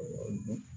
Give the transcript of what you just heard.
Ɛɛ